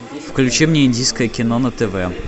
включи мне индийское кино на тв